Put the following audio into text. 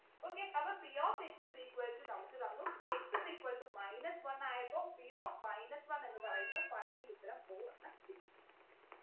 okay അപ്പൊ p of x is equal to നമുക്ക് തന്നു x is equal to minus ഒന്നു ആയപ്പോ p of minus one എന്ന് പറയുന്നത് final ഉത്തരം four എന്ന് കിട്ടി